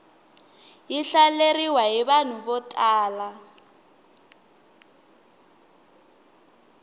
yi hlaleriwa hi vanhu vo tala